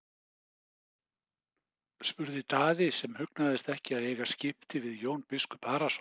spurði Daði sem hugnaðist ekki að eiga skipti við Jón biskup Arason.